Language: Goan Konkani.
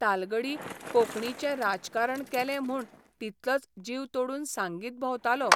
तालगडी कोंकणीचें राजकारण केलें म्हूण तितलोच जीव तोडून सांगीत भोंवतालो.